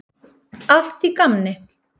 Allt í gamni.